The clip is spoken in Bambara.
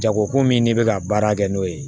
Jago ko min n'i bɛ ka baara kɛ n'o ye